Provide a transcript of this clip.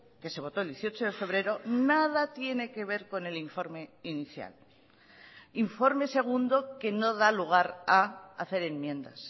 que se votó el dieciocho de febrero nada tiene que ver con el informe inicial informe segundo que no da lugar a hacer enmiendas